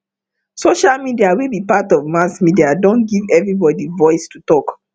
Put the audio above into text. social media wey be part of mass media don give everybody voice to talk